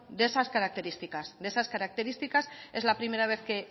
de esas características de esas características es la primera vez que